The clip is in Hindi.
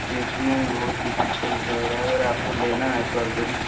देखने में बहुत ही खुबसूरत लग रहा है अगर आप को लेना है तो आप जरूर --